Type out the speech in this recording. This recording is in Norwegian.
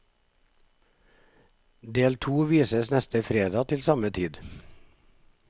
Del to vises neste fredag til samme tid.